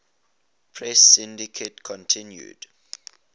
press syndicate continued